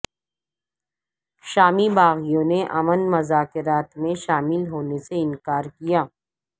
شامی باغیوں نے امن مذاکرات میں شامل ہونے سے انکارکیا